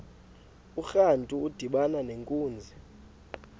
urantu udibana nenkunzi